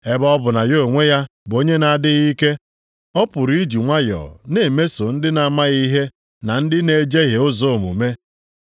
Ebe ọ bụ na ya onwe ya bụ onye na-adịghị ike, ọ pụrụ iji nwayọọ na-emeso ndị na-amaghị ihe na ndị na-ejehie ụzọ omume.